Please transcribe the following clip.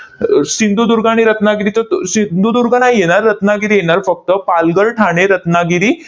अह सिंधुदुर्ग आणि रत्नागिरीतच, अह सिंधुदुर्ग नाही येणार. रत्नागिरी येणार फक्त. पालघर, ठाणे, रत्नागिरी